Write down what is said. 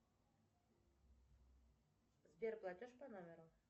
сбер платеж по номеру